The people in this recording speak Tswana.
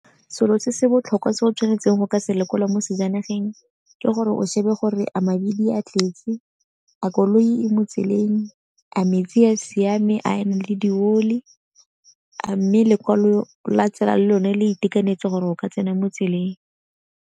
Selo se se botlhokwa se o tshwanetseng go ka sekolo mo sejaneng ke gore o shebe gore a mabili a tletse, a koloi mo tseleng, a metsi a siame a na le di oli, a mme lekwalo la tsela lone le itekanetse gore o ka tsena mo tseleng.